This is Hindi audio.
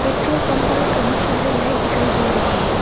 पेट्रोल पंप पर कहीं सारे लाइट दिखाई दे रहे हैं।